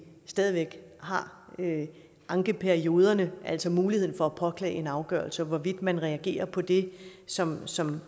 stadig væk har ankeperioderne altså muligheden for at påklage en afgørelse og hvorvidt man reagerer på det som som